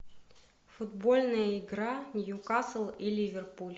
футбольная игра ньюкасл и ливерпуль